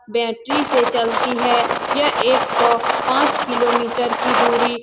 battery से चलती है यह एक सौ पाँच किलोमिटर की दुरी --